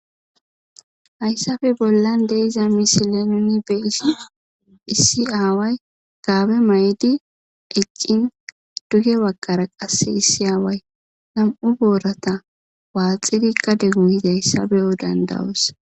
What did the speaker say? hayssappe bollan de'iza misile nuni be'shn issi aaway gaabe maydi eccin duge wakara qasse issi aaway nam'u borata waaxidi gade goyizaysa beyo danda'os.